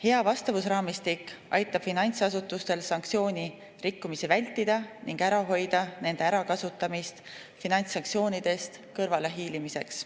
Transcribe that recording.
Hea vastavusraamistik aitab finantsasutustel sanktsiooni rikkumist vältida ning ära hoida nende ärakasutamist finantssanktsioonidest kõrvalehiilimiseks.